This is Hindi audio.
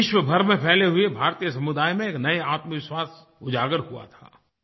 विश्वभर में फैले हुए भारतीय समुदाय में नया आत्मविश्वास उजाग़र हुआ था